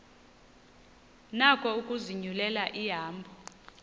nako ukuzinyulela ihambo